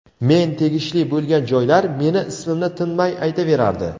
men tegishli bo‘lgan joylar meni ismimni tinmay aytaverardi .